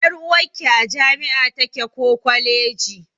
Ƴar'uwarki a jami'a take ko kwaleji.